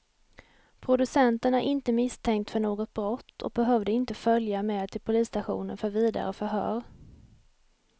Producenten är inte misstänkt för något brott och behövde inte följa med till polisstationen för vidare förhör.